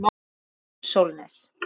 Júlíus Sólnes.